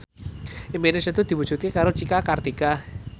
impine Setu diwujudke karo Cika Kartika